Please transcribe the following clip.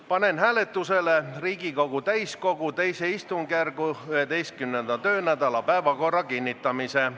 Panen hääletusele Riigikogu täiskogu II istungjärgu 11. töönädala päevakorra kinnitamise.